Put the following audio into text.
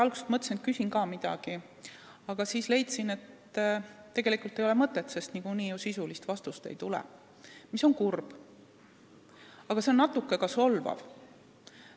Alguses mõtlesin, et küsin ka midagi, aga siis leidsin, et tegelikult ei ole mõtet, sest sisulist vastust ju niikuinii ei tule, mis on kurb, aga ka natuke solvav.